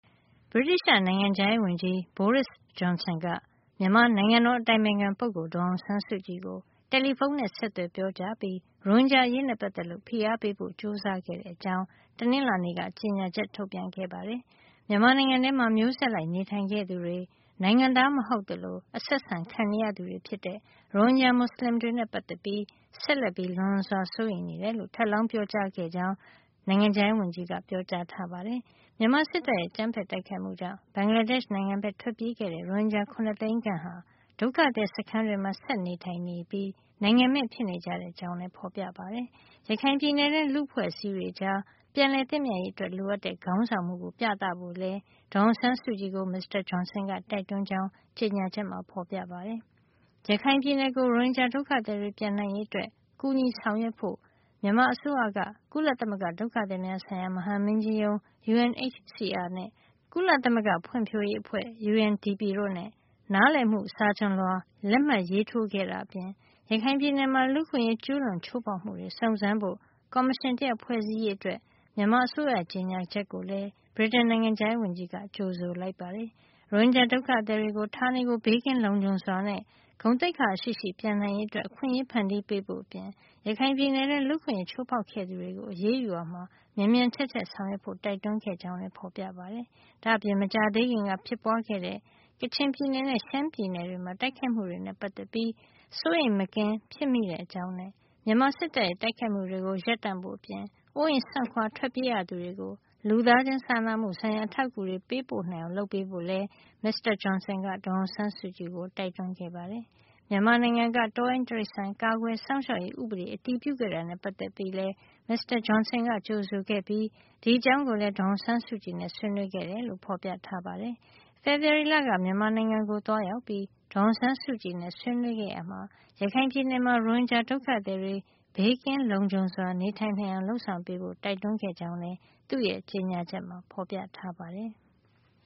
ဗြိတိသျှ နိုင်ငံခြားရေးဝန်ကြီး Boris Johnson က မြန်မာ နိုင်ငံတော်အတိုင်ပင်ခံ ပုဂ္ဂိုလ် ဒေါ်အောင်ဆန်းစုကြည်ကို တယ်လီဖုန်း နဲ့ ဆက်သွယ်ပြောကြားပြီး ရိုဟင်ဂျာ အရေးနဲ့ ပတ်သက်လို့ ဖိအားပေးဖို့ ကြိုးစားခဲ့တဲ့ အကြောင်း တနင်္လာနေ့က ကြေညာချက် ထုတ်ပြန်ခဲ့ပါတယ်။ မြန်မာနိုင်ငံထဲမှာ မျိုးဆက်လိုက် နေထိုင်ခဲ့သူတွေ နိုင်ငံသားမဟုတ်သလို အဆက်ဆံခံနေရသူတွေဖြစ်တဲ့ ရိုဟင်ဂျာ မူစလင်တွေနဲ့ ပတ်သက်ပြီး ဆက်လက်ပြီး လွန်စွာ စိုးရိမ်လျက်ရှိကြောင်း ထပ်လောင်း ပြောကြားခဲ့တယ်လို့ နိုင်ငံခြားရေးဝန်ကြီးက ပြောကြားထားပါတယ်။ မြန်မာစစ်တပ်ရဲ့ အကြမ်းဖက်တိုက်ခိုက်မှုကြောင့် ဘင်္ဂလားဒေ့ရှ် နိုင်ငံကို ထွက်ပြေးခဲ့တဲ့ ရိုဟင်ဂျာ ၇ သိန်းခန့်ဟာ ဒုက္ခသည် စခန်းတွေမှာ ဆက်လက် နေထိုင်လျှက် ရှိပြီး နိုင်ငံမဲ့ ဖြစ်နေကြတဲ့ အကြောင်းလည်း ဖေါ်ပြထားပါတယ်။ ရခိုင်ပြည်နယ်တွင်းလူ့အဖွဲ့အစည်းတွေကြား ပြန်လည်သင့်မြတ်ရေးအတွက် လိုအပ်တဲ့ ခေါင်းဆောင်မှုကို ပြသဖို့လည်း ဒေါ်အောင်ဆန်းစုကြည်ကို မစ္စတာ Johnson က တိုက်တွန်းကြောင်း ကြေညာချက်မှာ ဖေါ်ပြထားပါတယ်။ ရခိုင်ပြည်နယ်ကို ရိုဟင်ဂျာ ဒုက္ခသည်တွေ ပြန်နိုင်ရေးအတွက် ကူညီဆောင်ရွက်ဖို့ မြန်မာအစိုးရက ဒုက္ခသည်များဆိုင်ရာ ကုလသမဂ္ဂ မဟာမင်းကြီးရုံး UNHCR နဲ့ ကုလသမဂ္ဂ ဖွံ့ဖြိုးမှု အစီအစဉ် UNDP တို့နဲ့ နားလည်မှု စာချွန်လွှာ လက်မှတ်ရေးထိုး ခဲ့တာအပြင် ရခိုင်ပြည်နယ်မှာ လူ့အခွင့်ရေး ကျူးလွန်ချိုးဖေါက်မှုတွေ စုံစမ်းစစ်ဆေးဖို့ ကော်မရှင် တရပ်ဖွဲ့စည်းရေး အတွက် မြန်မာအစိုးရရဲ့ ကြေညာချက်ကိုလည်း ဗြိတိန်နိုင်ငံခြားရေးဝန်ကြီးက ကြိုဆိုလိုက်ပါတယ်။ ရိုဟင်ဂျာ ဒုက္ခသည်တွေ ဌာနေကို ဘေးကင်းလုံခြုံစွာနဲ့ ဂုဏ်သိက္ခာရှိရှိ ပြန်နိုင်ရေးအတွက် အခွင့်အရေး ဖန်တီးပေးဖို့အပြင် ရခိုင်ပြည်နယ်တွင်း လူ့အခွင့်ရေးချိုးဖေါက်ခဲ့သူတွေကို အရေးယူရာမှာ မြန်မြန်ထက်ထက် ဆောင်ရွက်ဖို့ တိုက်တွန်းခဲ့ကြောင်းလည်း ဖေါ်ပြထားပါတယ်။ ဒါ့အပြင် မကြာသေးခင်က ဖြစ်ပွါးခဲ့တဲ့ ကချင်ပြည်နယ်နဲ့ ရှမ်းပြည်နယ်တွေမှာ တိုက်ခိုက်မှုတွေနဲ့ ပတ်သက်ပြီး စိုးရိမ်မကင်း ဖြစ်မိတဲ့ အကြောင်းနဲ့ မြန်မာစစ်တပ်ရဲ့ တိုက်ခိုက်မှုတွေကို ရပ်တံ့ဖို့အပြင် အိုးအိမ်စွန့်ခွါ ထွက်ပြေးရသူတွေကို လူသားချင်းစာနာမှု ဆိုင်ရာ အထောက်အကူတွေ ပေးပို့နိုင်အောင်လုပ်ပေးဖို့လည်း မစ္စတာ Johnson က ဒေါ်အောင်ဆန်းစုကြည်ကို တိုက်တွန်းခဲ့ပါတယ်။ မြန်မာနိုင်ငံက တောရိုင်းတိရိစ္ဆာန် ကာကွယ်စောင့်ရှောက်ရေး ဥပဒေ အတည်ပြုခဲ့တာနဲ့ ပတ်သက်လို့လည်း မစ္စတာ Johnson ကကြိုဆိုခဲ့ပြီး ဒီအကြောင်းကိုလည်း ဒေါ်အောင်ဆန်းစုကြည်နဲ့ ဆွေးနွေးခဲ့တယ်လို့ ဖေါ်ပြထားပါတယ်။ ဖေဖေါ်ဝါရီလက မြန်မာနိုင်ငံကို သွားရောက်ပြီး ဒေါ်အောင်ဆန်းစုကြည်နဲ့ ဆွေးနွေးခဲ့ရာမှာ ရခိုင်ပြည်နယ်မှာ ရိုဟင်ဂျာ ဒုက္ခသည်တွေ ဘေးကင်းလုံခြုံစွာ နေထိုင်နိုင်အောင် လုပ်ဆောင်ပေးဖို့ တိုက်တွန်းခဲ့ကြောင်းလည်း သူ့ရဲ့ ကြေညာချက်မှာ ဖေါ်ပြထားပါတယ်။